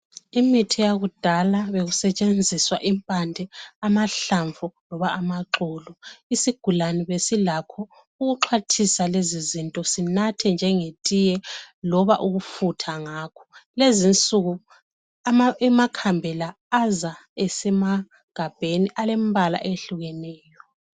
Imithi yakudala bekusetshenziswa impande, amahlamvu loba amaxolo. Isigulane besilakho ukuxwathisa lezi zinto sinathe njengetiye loba ukufutha ngakho. Kulezi insuku amakhambela aza esemagabheni alempala eyehlukeneyo.